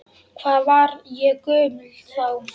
Hvað var ég gömul þá?